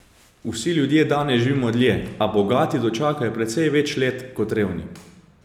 Vsi ljudje danes živijo dlje, a bogati dočakajo precej več let kot revni.